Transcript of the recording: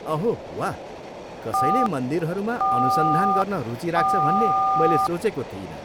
अहो वाह, कसैले मन्दिरहरूमा अनुसन्धान गर्न रुचि राख्छ भन्ने मैले सोचेको थिइनँ।